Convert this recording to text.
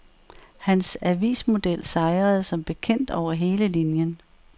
Hans avismodel sejrede som bekendt over hele linjen.